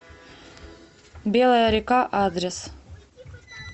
белая река адрес